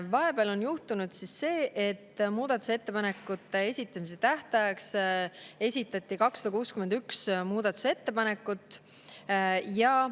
Vahepeal on juhtunud see, et muudatusettepanekute esitamise tähtajaks esitati 261 muudatusettepanekut.